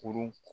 Kurun